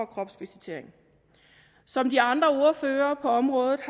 kropsvisitering som de andre ordførere på området